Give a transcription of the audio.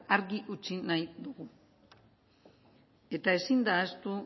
argi utzi nahi dugu eta ezin da ahaztu